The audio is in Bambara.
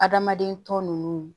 Adamaden tɔ nunnu